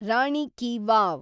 Rani ki wow